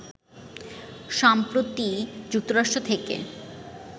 সম্প্রতি যুক্তরাষ্ট্র থেকে